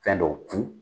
Fɛn dɔw tun